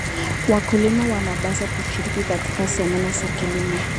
Wakulima wanapaswa kushiriki katika semina za kilimo.